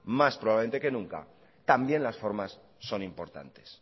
más probablemente que nunca también las formas son importantes